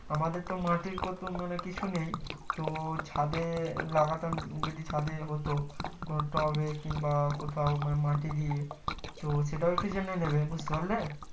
আমাদের তো মাঠেই কোথ মানে কিছু নেই তো ছাদে লাগাতাম যদি ছাদে হতো কোনো টবে কিংবা কোথায় মাটি ই তো সেটাও একটু জেনে নিবে বুজতে পারলে